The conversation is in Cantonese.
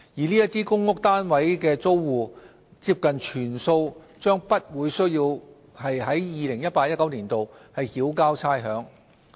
這些公屋單位的租戶，接近全數將不需要在 2018-2019 年度繳交差餉。